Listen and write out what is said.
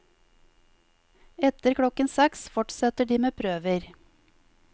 Etter klokken seks fortsetter de med prøver.